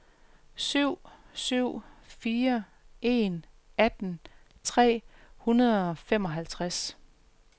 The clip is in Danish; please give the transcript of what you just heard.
syv syv fire en atten tre hundrede og femoghalvtreds